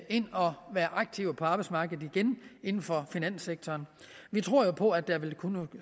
ind og være aktive på arbejdsmarkedet igen inden for finanssektoren vi tror på at der vil kunne